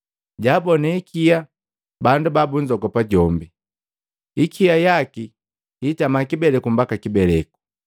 jaabone hikia bandu babunzogopa jombi. Hikia yaki hitama kibeleku mbaka kibeleku.